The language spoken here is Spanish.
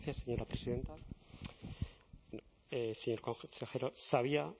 muchas gracias señora presidenta señor consejero sabía